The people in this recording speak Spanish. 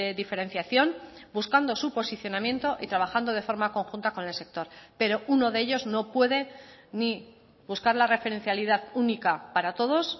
diferenciación buscando su posicionamiento y trabajando de forma conjunta con el sector pero uno de ellos no puede ni buscar la referencialidad única para todos